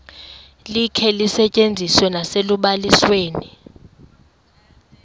likhe lisetyenziswe nasekubalisweni